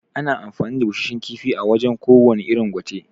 Ana amfani da Bushashshan kifi wajan ko wane irin gwate